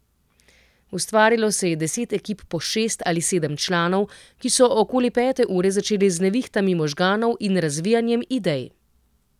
Ustvarilo se je deset ekip po šest ali sedem članov, ki so okoli pete ure začeli z nevihtami možganov in razvijanjem idej.